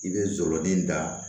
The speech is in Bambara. I bɛ jɔrɔ ni da